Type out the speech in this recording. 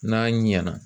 N'a ɲɛna